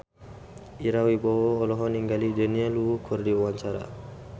Ira Wibowo olohok ningali Daniel Wu keur diwawancara